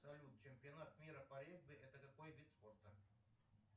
салют чемпионат мира по регби это какой вид спорта